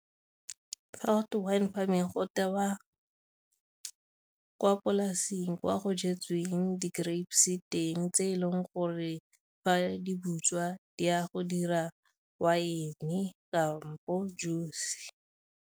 Fa gotwe wine farming go tewa kwa polasing kwa go jetsweng di-grapes teng tse e leng gore fa di butswa di ya go dira wine kampo juice.